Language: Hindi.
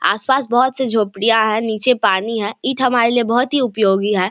आस-पास बहुत से झोपड़ियां है नीचे पानी है इते हमारे लिए बहुत ही उपयोगी है।